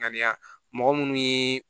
Ŋaniya mɔgɔ minnu ye